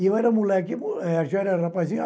E eu era moleque, eh já era rapazinho.